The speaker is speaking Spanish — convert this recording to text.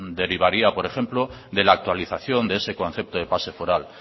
derivaría por ejemplo de la actualización de ese concepto de pase foral